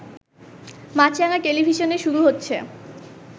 মাছরাঙা টেলিভিশনে শুরু হচ্ছে